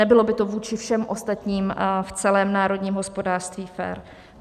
Nebylo by to vůči všem ostatním v celém národním hospodářství fér.